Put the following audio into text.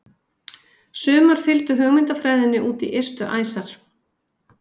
Sumar fylgdu hugmyndafræðinni út í ystu æsar.